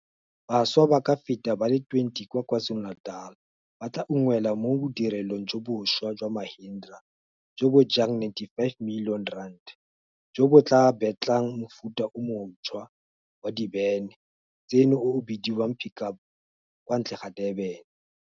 Bašwa ba ka feta ba le 20 kwa Kwa Zulu-Natal ba tla unngwelwa mo bodirelong jo bonšhwa jwa Mahindra jo bo jang R95 milione jo bo tla betlang mofuta o mo ntšhwa wa dibene tseno o o bidiwang Pick Up kwa ntle ga Durban.